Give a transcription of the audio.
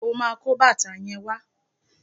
O máa kó bàtà yẹn wá.